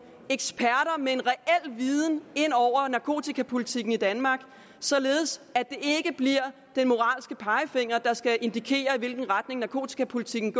eksperter med en reel viden ind over narkotikapolitikken i danmark således at det ikke bliver den moralske pegefinger der skal indikere i hvilken retning narkotikapolitikken